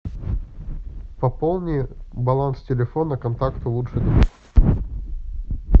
пополни баланс телефона контакта лучший друг